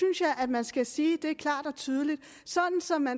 jeg man skal sige det klart og tydeligt sådan at